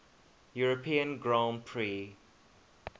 european grand prix